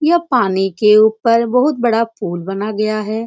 यह पानी के ऊपर बहुत बड़ा पुल बना गया है।